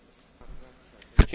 Panie przewodniczący!